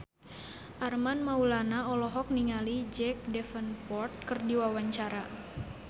Armand Maulana olohok ningali Jack Davenport keur diwawancara